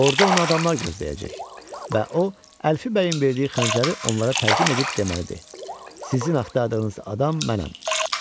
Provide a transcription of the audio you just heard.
Orda onu adamlar gözləyəcək və o Əlfi bəyin verdiyi xəncəri onlara təqdim edib deməlidir: "Sizin axtardığınız adam mənəm."